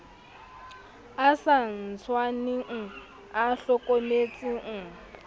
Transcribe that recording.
a sa tshwaneng a hlokometseng